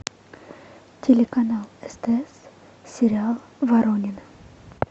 телеканал стс сериал воронины